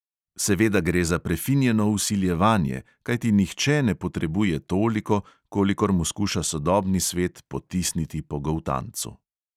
Seveda gre za prefinjeno vsiljevanje, kajti nihče ne potrebuje toliko, kolikor mu skuša sodobni svet potisniti po goltancu.